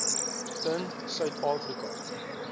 in suid afrika